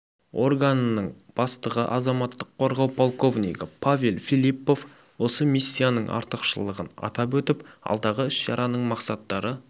органының бастығы азаматтық қорғау полковнигі павел филиппов осы миссияның артықшылығын атап өтіп алдағы іс-шараның мақсаттары